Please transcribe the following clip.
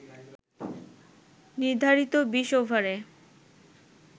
নির্ধারিত ২০ ওভারে